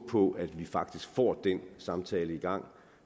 på at vi faktisk får den samtale i gang